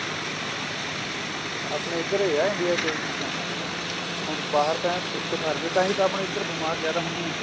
ਆਪਣੇ ਏਧਰ ਹੈ India ਚ ਇਹ ਚੀਜਾਂ ਹੁਣ ਬਾਹਰ ਤਾਂ ਐਨ ਇੱਕੋਸਾਰ ਰਹਿੰਦਾ ਤਾਹੀਂ ਤਾਂ ਆਪਣੇ ਇਧਰ ਬੀਮਾਰ ਜਿਆਦਾ ਹੁੰਦੇ ਹੈ